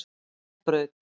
Bæjarbraut